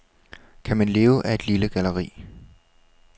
Kan man leve af et lille galleri?